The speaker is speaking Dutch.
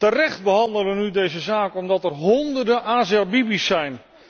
Terecht behandelen wij nu deze zaak, omdat er honderden Asia Bibi's zijn.